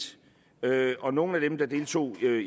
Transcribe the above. og nogle af dem der deltog